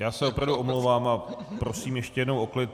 Já se opravdu omlouvám a prosím ještě jednou o klid.